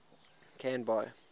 canby